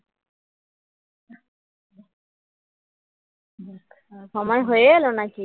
সময় হয়ে গেল নাকি